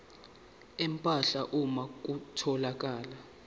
empahla uma kutholakala